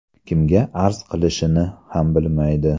Kimga arz qilishini ham bilmaydi.